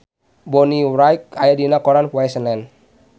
Bonnie Wright aya dina koran poe Senen